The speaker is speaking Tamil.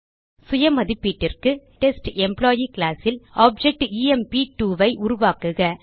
சுயமதிப்பீட்டிற்கு ஏற்கனவே உருவாக்கி டெஸ்ட் எம்ப்ளாயி கிளாஸ் ல் ஆப்ஜெக்ட் எம்ப்2 ஐ உருவாக்குக